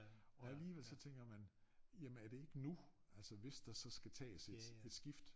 Og alligevel så tænker man jamen er det ikke nu altså hvis der så skal tages et et skift